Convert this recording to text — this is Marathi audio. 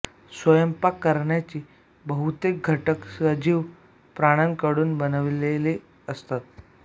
स्वयंपाक करण्याचे बहुतेक घटक सजीव प्राण्यांकडून बनविलेले असतात